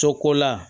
Cogo la